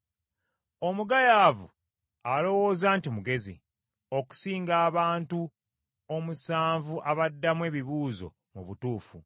Omugayaavu alowooza nti mugezi, okusinga abantu omusanvu abaddamu ebibuuzo mu butuufu.